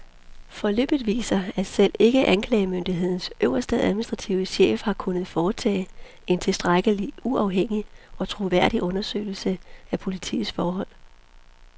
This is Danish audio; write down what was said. Forløbet viser, at selv ikke anklagemyndighedens øverste administrative chef har kunnet foretage en tilstrækkelig uafhængig og troværdig undersøgelse af politiets forhold.